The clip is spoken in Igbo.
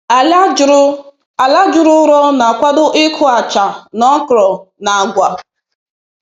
Ala juru Ala juru ụrọ na-akwado ịkụ acha na okra na agwa